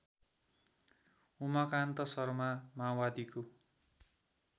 उमाकान्त शर्मा माओवादीको